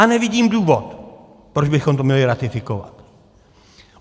A nevidím důvod, proč bychom to měli ratifikovat.